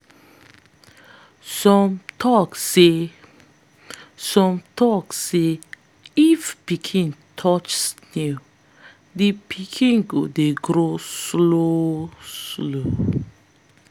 some tok say some tok say if pikin touch snail di pikin go dey grow slow slow.